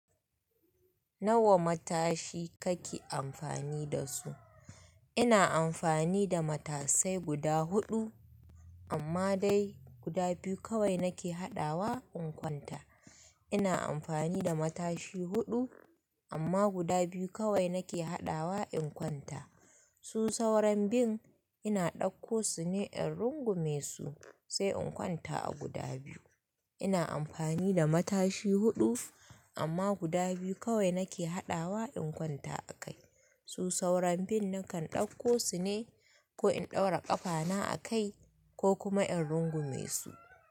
Nawa matashi kake amfani da su? Ina amfani da matashai guda huɗu amma dai guda biyu kawai nake haɗawa in kwanta. Ina amfani da matashi huɗu amma guda biyu kawai nake haɗawa in kwanta. Su sauran bin ina ɗauko su ne in rungume su sai in kwanta a guda biyu. Ina amfani da matashi huɗu amma guda biyu kawai nake haɗawa in kwanta a kai. Su sauran bin nakan ɗauko su ne ko in ɗaura ƙafa na a kai ko kuma in rungume su.